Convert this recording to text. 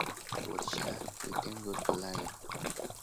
but sha we thank god for life